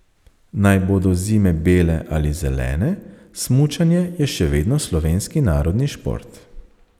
Naj bodo zime bele ali zelene, smučanje je še vedno slovenski narodni šport.